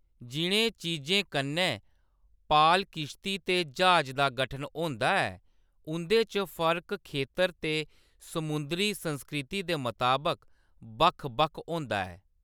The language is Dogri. जि'नें चीजें कन्नै पाल-किश्ती ते ज्हाज दा गठन होंदा ऐ, उंʼदे च फर्क खेतर ते समुंदरी संस्कृति दे मताबक बक्ख-बक्ख होंदा ऐ।